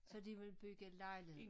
Så de vil bygge lejligheder